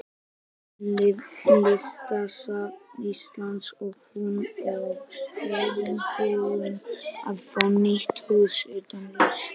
Listasafns Íslands og hún og þjóðin búin að fá nýtt hús utanum listina.